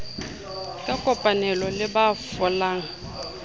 ka kopanelo le ba folang